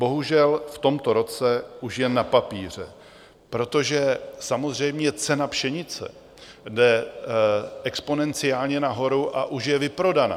Bohužel v tomto roce už jen na papíře, protože samozřejmě cena pšenice jde exponenciálně nahoru a už je vyprodaná.